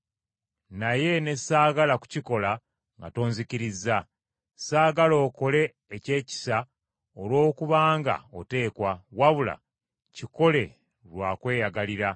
naye ne saagala kukikola nga tonzikirizza. Saagala okole eky’ekisa olwokubanga oteekwa, wabula kikole lwa kweyagalira.